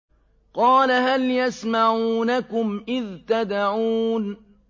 قَالَ هَلْ يَسْمَعُونَكُمْ إِذْ تَدْعُونَ